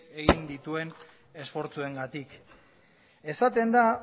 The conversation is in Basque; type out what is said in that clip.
egin dituen esfortzuengatik esaten da